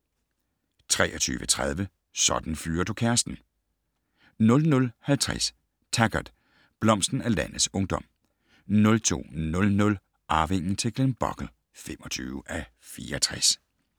23:30: Sådan fyrer du kæresten! 00:50: Taggart: Blomsten af landets ungdom 02:00: Arvingen til Glenbogle (25:64)